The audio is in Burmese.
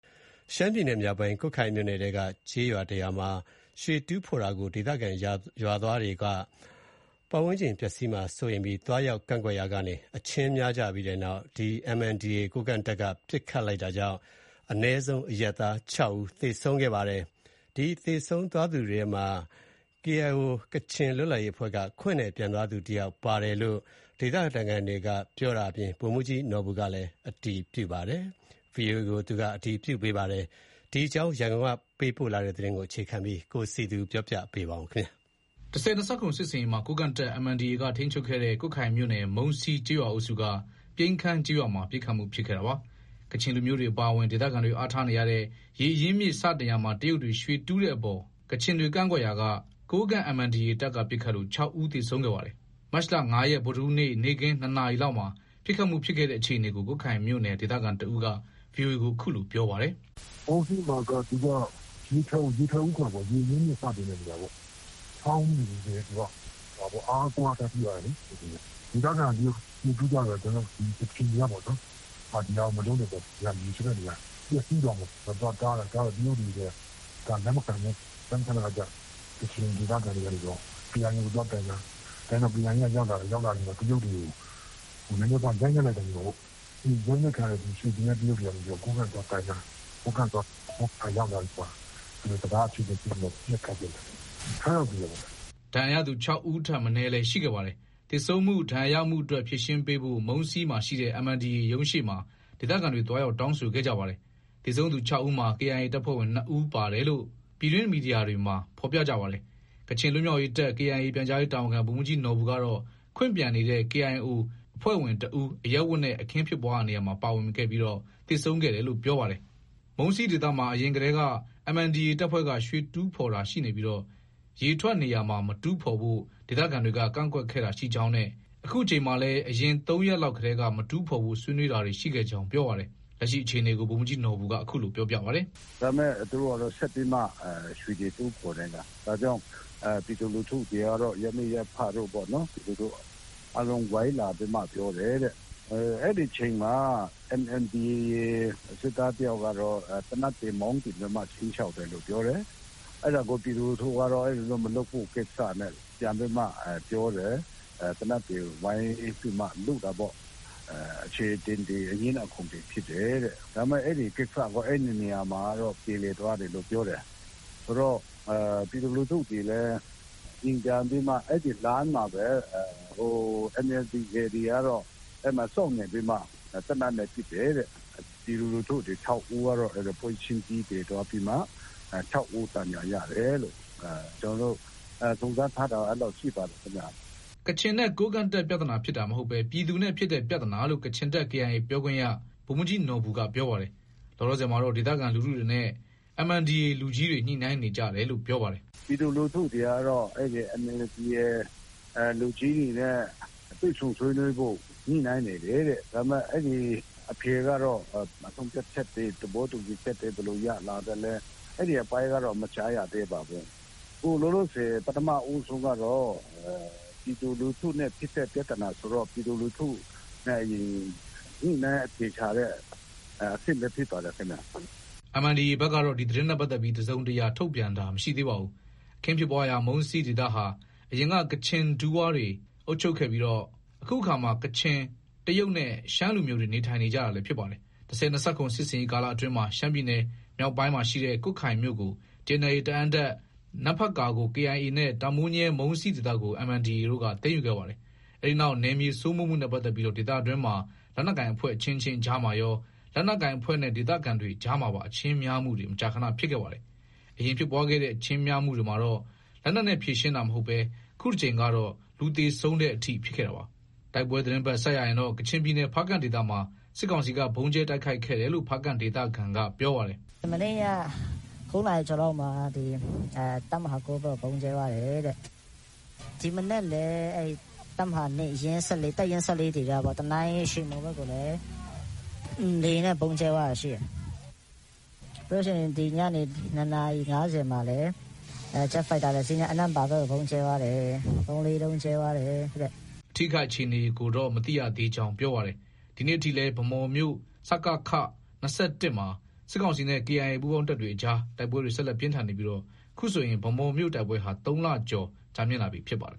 ရှမ်းပြည်နယ်မြောက်ပိုင်း ကွတ်ခိုင်မြို့နယ်ထဲကကျေးရွာတရွာမှာ ရွှေတူးတာကို ဒေသခံရွာသားတွေက သွားရောက်ကန့်ကွက်ရာကနေ အချင်းများပြီးနောက် MNDAA ကိုးကန့်တပ်က ပစ်ခတ်တာကြောင့် အနည်းဆုံး အရပ်သား ဦး သေဆုံးခဲ့ပါတယ်။ သေဆုံးသွားသူတွေထဲမှာ ကချင် KIO အဖွဲ့က ခွင့်နဲ့ ပြန်သွားသူတယောက်ပါတယ်လို့ ဗိုလ်မှူးကြီးနော်ဘူက VOA ကိုပြောပါတယ်။ ရန်ကုန်ကပေးပို့တဲ့ သတင်းကို အခြေခံပြီး တင်ပြထားပါတယ်။ ၁၀၂၇ စစ်ဆင်ရေးမှာ ကိုးကန့်တပ် MNDAA က ထိန်းချုပ်ခဲ့တဲ့ ကွတ်ခိုင်မြို့နယ်၊ မုံးစီးကျေးရွာအုပ်စုက ပြိန်းခမ်းကျေးရွာမှာ ပစ်ခတ်မှုဖြစ်ခဲ့တာပါ။ ကချင်လူမျိုးတွေအပါအဝင် ဒေသခံတွေ အားထားနေ ကြတဲ့ ရေအရင်းအမြစ်စတင်ရာမှာ တရုတ်တွေကရွှေတူးတဲ့အတွက် ကချင်တိုင်းရင်းသားတွေ ကန့်ကွက်ရာက ကိုးကန့် MNDAA တပ်က ပစ်ခတ်လို့ ဦးသေဆုံးခဲ့ပါတယ်။ မတ်လ ရက် ဗုဒ္ဓဟူးနေ့ နေ့ခင်း နာရီလောက်မှာ ပစ်ခတ်မှုဖြစ်ခဲ့တဲ့အခြေအနေကို ကွတ်ခိုင်မြို့နယ်က ဒေသခံတဦးက VOA ကို အခုလို ပြောပြပါတယ်။ “မုံးစီးမှာက သူက ရေထွက်ဦး ခေါ်တာပေါ့။ ရေအရင်းအမြစ် စတင်တဲ့နေရာပေါ့။ ချောင်းပေါ့ သူက အားကိုးအားထားပြုရတဲ့နေရာပေါ့။ ဒေသခံ တရုတ်တွေက ရွှေတူးကြတော့ ကချင်တွေကပေါ့နော်၊ မလုပ်နဲ့ပေါ့နော် ဒီဟာ ရေထွက်တဲ့နေရာပျက်စီးသွားမယ်ပေါ့။ သွားတားတာ။ တားတော့ တရုတ်တွေ က လက်မခံဘူး။ လက်မခံတဲ့အခါကျ ကချင်ဒေသခံတွေကနေပြီးတော့ KIA ကို သွားတိုင် တာ။ တိုင်တော့ KIA က ရောက်လာတယ်။ ရောက်လာပြီး တရုတ်တွေကို နည်းနည်းပါးပါး ရိုက်နှက်လိုက်တာ နေမှာပေါ့။ ရိုက်နှက်ခံရတဲ့ ရွှေကျင်တဲ့တရုတ်တွေကနေပြီး ကိုးကန့်သွားတိုင်တာ။ ကိုးကန့်က ရောက်လာပြီးမှ စကား အချေအတင်ဖြစ်ပြီး ပစ်ခတ်ကြတာ။ ယောက်သေတယ်။” ဒဏ်ရာရသူလည်း ဦးထက် မနည်း ရှိခဲ့ပါတယ်။ သေဆုံးမှု၊ ဒဏ်ရာရမှုအတွက် ဖြေရှင်းပေးဖို့ မုံးစီးမှာရှိတဲ့ MNDAA ရုံးရှေ့မှာ ဒေသခံတွေ သွားရောက် တောင်းဆိုခဲ့ကြပါတယ်။ သေဆုံးသူ ဦးမှာ KIA တပ်ဖွဲ့ဝင်နှစ်ဦးပါဝင်တယ်လို့ ပြည်တွင်းသတင်းမီဒီယာတွေမှာ ဖော်ပြကြပါတယ်။ ကချင်လွတ်မြောက်ရေးတပ် KIA ပြန်ကြားရေးတာဝန်ခံ ဗိုလ်မှူးကြီးနော်ဘူကတော့ ခွင့်ပြန်နေတဲ့ KIO အဖွဲ့ဝင်တဦး အရပ်ဝတ်နဲ့ အခင်းဖြစ်ပွားရာမှာ ပါဝင်ပြီး သေဆုံးခဲ့တယ်လို့ ပြောပါတယ်။ မုံးစီးဒေသမှာ အရင်ထဲက MNDAA တပ်ဖွဲ့က ရွှေတူးဖော်တာရှိနေပြီး ရေထွက်နေရာမှာ မတူးဖော်ဖို့ ဒေသခံတွေက ကန့်ကွက်ခဲ့တာရှိကြောင်းနဲ့ ယခုအကြိမ်မှာလည်း အရင် ရက်လောက်ကတည်းက မတူးဖော်ဖို့ ဆွေးနွေးတာတွေ ရှိခဲ့ကြောင်း ပြောပါတယ်။ လက်ရှိအခြေအနေကို ဗိုလ်မှူးကြီးနော်ဘူက ခုလိုပြောပြပါတယ်။ “ဒါပေမဲ့ သူတို့က ဆက်ပြီး ရွှေတွေ တူးဖော်နေတာ။ ဒါကြောင့် ပြည်သူလူထုတွေကတော့ ရပ်မိရပ်ဖတွေက ဝိုင်းလာပြီးမှ ပြောတယ်တဲ့။ အဲဒီအချိန်မှာ MNDAA စစ်သားတယောက်ကတော့ သေနတ်တွေ မောင်းတင်ပြီးမှာ ခြိမ်းခြောက်တယ်လို့ ပြောတယ်။ အဲဒါကို ပြည်သူလူထုက အဲလို မလုပ်ဖို့ ကိစ္စနဲ့ ပြန်ပြီးမှ ပြောတယ်။ သေနတ်တွေ ဝိုင်းပြီးမှ လုတာပေါ့။ အချေအတင်တွေ အငြင်းအခုန်တွေ ဖြစ်တယ်တဲ့။ ဒါပေမဲ့ အဲဒီကိစ္စက အဲဒီနေရာမှာတင် ပြေလည်သွားတယ်လို့ ပြောတယ်။ ဆိုတော့ ပြည်သူလူထုတွေလည်း အိမ်ပြန်ပြီးမှ အဲဒီလမ်းမှာပဲ MNDAA တွေက အဲဒီမှာ စောင့်နေပြီးမှ သေနတ်နဲ့ ပစ်တယ်တဲ့။ ပြည်သူလူထုတွေ ဦးကတော့ ပွဲချင်းပြီးသေပြီးမှ ဦး ဒဏ်ရာရတယ်လို့ ကျနော်တို့ စုံစမ်းထားတာတော့ အဲလောက်ရှိပါတယ်ခင်ဗျ။ ” ကချင်နဲ့ကိုးကန့်တပ် ပြဿနာဖြစ်တာမဟုတ်ဘဲ ပြည်သူနဲ့ဖြစ်တဲ့ပြဿနာလို့ ကချင်တပ် KIA ပြောခွင့်ရ ဗိုလ်မှူးကြီးနော်ဘူက ပြောပါတယ်။ လောလောဆယ်မှာတော့ ဒေသခံလူထုတွေနဲ့ MNDAA လူကြီးတွေ ညှိနှိုင်းနေကြတယ်လို့ ပြောပါတယ်။ “ပြည်သူလူထုတွေကတော့ အဲဒီ MNDAA လူကြီးတွေနဲ့ တွေ့ဆုံဆွေးနွေးဖို့ ညှိနှိုင်းနေတယ်တဲ့။ ဒါပေမဲ့ အဖြေကတော့ ဆုံးဖြတ်ချက်တွေ၊ သဘောတူညီချက်တွေ ဘယ်လို ရလာသလဲ အဲဒီအပိုင်းကတော့ မကြားရသေးပါဘူး။ အခုလောလောဆယ် ပထမဦးဆုံးကတော့ ပြည်သူလူထုနဲ့ ဖြစ်တဲ့ပြဿနာ ဆိုတော့ ပြည်သူလူထုနဲ့ အရင် ညှိနှိုင်းအဖြေရှာတဲ့အဆင့်ပဲ ဖြစ်ပါတယ်ခင်ဗျ။ MNDAA ဘက်ကတော့ ဒီသတင်းနဲ့ပတ်သက်ပြီး တစုံတရာ ထုတ်ပြန်တာ မရှိသေးပါဘူး။ အခင်းဖြစ်ရာ မုံးစီးဒေသဟာ အရင်က ကချင်ဒူးဝါတွေအုပ်ချုပ်ခဲ့ပြီး ယခုအခါမှာ ကချင်၊ တရုတ်နဲ့ ရှမ်းလူမျိုးတွေ နေထိုင်နေကြတာလည်း ဖြစ်ပါတယ်။ ၁၀၂၇ စစ်ဆင်ရေးကာလအတွင်းမှာ ရှမ်းပြည်နယ်မြောက်ပိုင်းရှိ ကွတ်ခိုင်မြို့ကို TNLA တအာင်းတပ်၊ နမ့်ဖတ်ကာကို KIA နဲ့ တာမိုးညဲ၊ မုန်းစီးဒေသကို MNDAA က သိမ်းယူခဲ့ပါတယ်။ အဲဒီနောက် နယ်မြေစိုးမိုးမှုနဲ့ပတ်သက်ပြီး ဒေသတွင်းမှာ လက်နက်ကိုင်အဖွဲ့ အချင်းချင်း အကြားမှာရော လက်နက်ကိုင်အဖွဲ့နဲ့ ဒေသခံတွေအကြားမှာပါ အချင်းများမှုတွေ မကြာခန ဖြစ်ခဲ့ပါတယ်။ အရင်ဖြစ်ပွားခဲ့တဲ့ အချင်းများမှုတွေမှာတော့ လက်နက်နဲ့ ဖြေရှင်းတာမရှိခဲ့ဘဲ ယခုတကြိမ်ကတော့ လူသေတဲ့အထိ ဖြစ်ခဲ့တာပါ။ တိုက်ပွဲသတင်းဘက် ဆက်ရရင်တော့ ကချင်ပြည်နယ် ဖားကန့်ဒေသမှာ စစ်ကောင်စီက ဗုံးကြဲတိုက်ခိုက်ခဲ့တယ်လို့ ဖားကန့်ဒေသခံက ပြောပါတယ်။ “မနေ့ညက နာရီကျော်လောက်မှာ တပ်မဟာ ဘက်ကို ဗုံးကြဲသွားတယ်တဲ့။ ဒီမနက်လည်း တပ်မဟာ တပ်ရင်း ဒေသပေါ့။ တနိုင်း ရွှေမှော်ဘက်ကိုလည်း လေယာဉ်နဲ့ ဗုံးကြဲသွားတာ ရှိတယ်။ ပြီးရင် ဒီညနေ နာရီ မှာလည်း ဂျက်ဖိုက်တာတစီးနဲ့ အနန့်ပါဘက်ကို ဗုံး ၃- ၄လုံး ကြဲသွားတယ်။” အထိအခိုက်အခြေအနေကိုတော့ မသိရကြောင်း ပြောပါတယ်။ ဒီကနေ့အထိလည်း ဗန်းမော်မြို့ စကခ မှာ စစ်ကောင်စီနဲ့ KIA ပူးပေါင်းတပ်တွေကြား တိုက်ပွဲတွေ ဆက်လက်ပြင်းထန်နေပြီး အခုဆို ဗန်းမော်မြို့တိုက်ပွဲဟာ သုံးလ ကျော်ကြာမြင့်လာပြီဖြစ်ပါတယ်